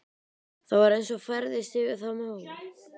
Það var eins og færðist yfir þá mók.